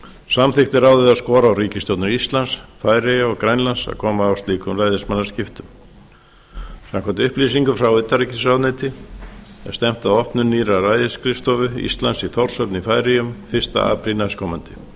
samþykkti ráðið að skora á ríkisstjórnir íslands færeyja og grænlands að koma á slíkum ræðismannaskiptum samkvæmt upplýsingum frá utanríkisráðuneyti er stefnt að opnun nýrrar ræðisskrifstofu íslands í þórshöfn í færeyjum fyrsta apríl næstkomandi þá